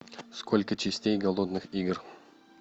сколько частей голодных игр